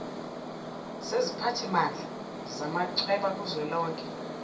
seziphathimandla zamachweba kuzwelonke